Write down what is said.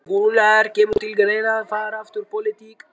Gunnar: Kemur til greina að fara aftur í pólitík?